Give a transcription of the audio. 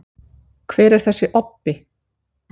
hver er þessi „obbi“